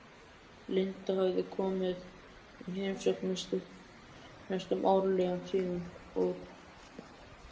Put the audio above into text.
Linda hafði komið í heimsókn næstum árlega síðan og